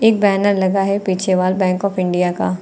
एक बैनर लगा है पीछे बैंक ऑफ इंडिया का।